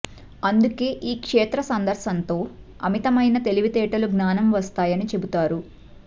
అందుకే ఈ క్షేత్ర సందర్శనంతో అమితమైన తెలివితేటలు జ్జానం వస్తాయని చెబుతారు